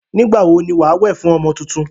Nígbà wo ni wà á wẹ̀ fún ọmọ tuntun?